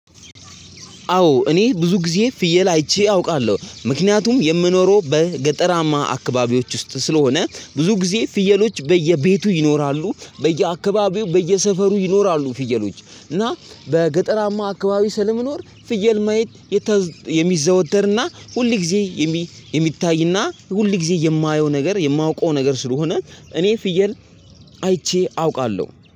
አዎ እኔ ብዙ ጊዜ ፍየል አይቼ አውቃለሁ ምክንያቱም የምኖረው በገጠራማ አካባቢዎች ውስጥ ስለሆነ ብዙ ጊዜ ፍየሎች በየቤቱ ይኖራሉ በየአካባቢው በየሰፈሩ ይኖራሉ። ፍየሎች እና በገጠራማ አካባቢ ስለምኖር ፍየል ማየት የተ የሚዘወተርና ሁል ጊዜ የሚታይና ሁል ጊዜ የማየው ነገር የማውቀው ነገር ስለሆነ እኔ ፍየል አይቼ አውቃለሁ